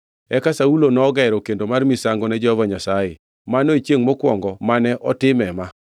Eka Saulo nogero kendo mar misango ne Jehova Nyasaye, mano e chiengʼ mokwongo mane otime ma.